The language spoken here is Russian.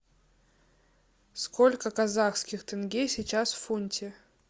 сколько казахских тенге сейчас в фунте